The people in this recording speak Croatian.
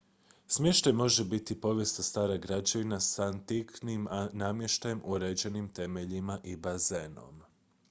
smještaj može biti povijesna stara građevina s antiknim namještajem uređenim temeljima i bazenom